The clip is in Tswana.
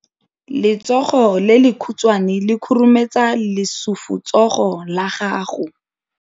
Letsogo le lekhutshwane le khurumetsa lesufutsogo la gago.